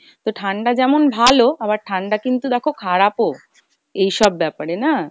তো ঠাণ্ডা যেমন ভালো, আবার ঠাণ্ডা কিন্তু দেখো খারাপ ও এইসব ব্যাপারে না।